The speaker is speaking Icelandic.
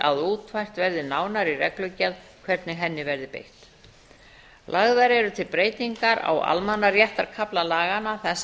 að útfært verði nánar í reglugerð hvernig henni verði beitt lagðar eru til breytingar á almannaréttarkafla þar sem